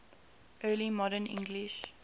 early modern english